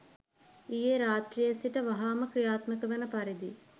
ඊයේ රාත්‍රියේ සිට වහාම ක්‍රියාත්මක වන පරිදි